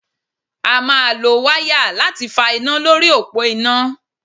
A máa lo wáyà láti fa iná lórí òpó iná.